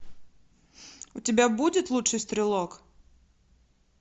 у тебя будет лучший стрелок